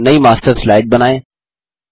एक नयी master slide बनाएँ